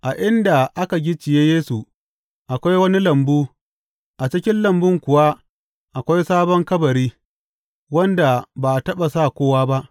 A inda aka gicciye Yesu, akwai wani lambu, a cikin lambun kuwa akwai sabon kabari, wanda ba a taɓa sa kowa ba.